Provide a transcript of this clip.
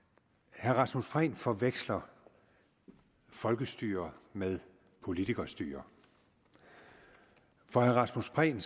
herre rasmus prehn forveksler folkestyre med politikerstyre for herre rasmus prehn